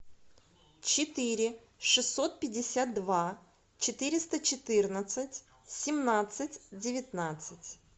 четыре шестьсот пятьдесят два четыреста четырнадцать семнадцать девятнадцать